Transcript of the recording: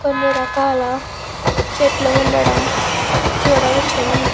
కొన్ని రకాల చెట్లు ఉండడం చూడవచ్చును.